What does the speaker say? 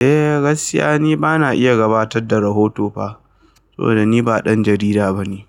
Eh gaskiya ni bana iya gabatar da rahoto pha saboda ni ba ɗan jarida bane.